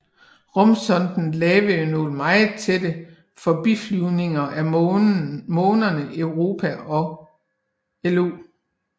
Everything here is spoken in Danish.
Rumsonden lavede nogle meget tætte forbiflyvninger af månerne Europa og Io